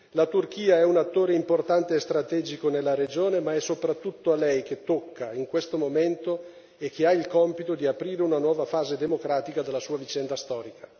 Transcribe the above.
La Turchia è un attore importante e strategico nella regione, ma è soprattutto a lei che tocca in questo momento e che ha il compito di aprire una nuova fase democratica della sua vicenda storica.